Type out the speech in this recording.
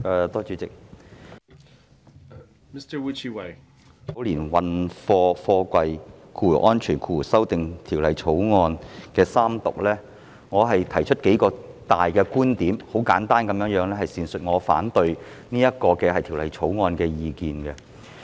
主席，我想就三讀《2019年運貨貨櫃條例草案》提出數項觀點，簡單闡述我反對《條例草案》的意見。